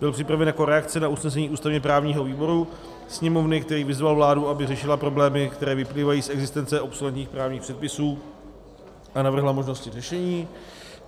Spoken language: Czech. Byl připraven jako reakce na usnesení ústavně-právního výboru Sněmovny, který vyzval vládu, aby řešila problémy, které vyplývají z existence obsoletních právních předpisů, a navrhla možnosti řešení.